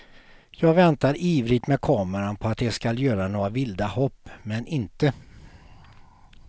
Jag väntar ivrigt med kameran på att de skall göra några vilda hopp, men inte.